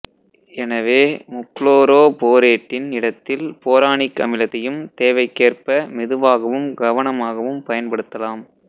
எனவே முப்புளோரோபோரேட்டின் இடத்தில் போரானிக் அமிலத்தையும் தேவைக்கேற்ப மெதுவாகவும் கவனமாகவும் பயன்படுத்தலாம்